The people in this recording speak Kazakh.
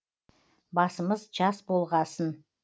басымыз жас болғасын